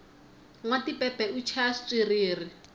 nwa tipepe u chaya xitswiriri